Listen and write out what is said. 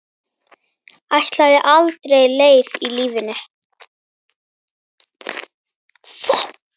Ætlaði aðra leið í lífinu.